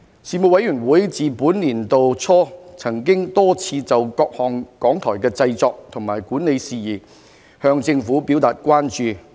事務委員會自本年度初曾多次就各項港台的製作和管理事宜向政府表達關注。